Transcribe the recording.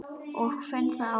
Ég finn það á mér.